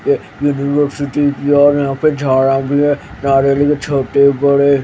ये New York City की है और यहां पे झाड़ा भी हैं यहां नारियल हैं छोटे बड़े --